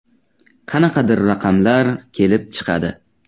“Qanaqadir raqamlar kelib chiqadi.